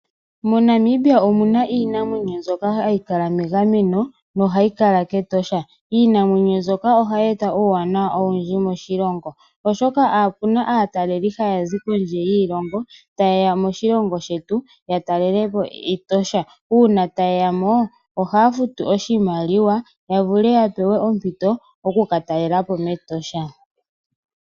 MoNamibia omuna iinamwenyo mbyoka hayi kala megameno nohayi kala kEtosha. Iinamwenyo mbyoka ohayi e ta uuwanawa owundji moshilongo, oshoka opuna aataleli taya zi kiilongo ta ye ya moshilongo shetu ye ye ya talele po Etosha, uuna ta ye ya mo ohaya futu oshimaliwa ya wape ya pewe ompito ya vule oku ka talela po mEtosha.